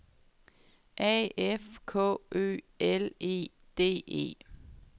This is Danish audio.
A F K Ø L E D E